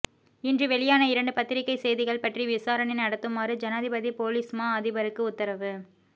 இன்று வெளியான இரண்டு பத்திரிகை செய்திகள் பற்றி விசாரணை நடத்துமாறு ஜனாதிபதி பொலிஸ்மா அதிபருக்கு உத்தரவு